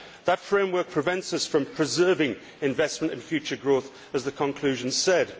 That framework prevents us from preserving investment in future growth' as the conclusion said.